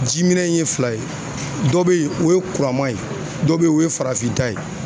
Jiminɛn in ye fila ye. Dɔ be yen o ye kuraman ye ,dɔ be yen o ye farafin ta ye.